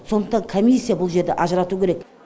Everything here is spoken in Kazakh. сондықтан комиссия бұл жерде ажыратуы керек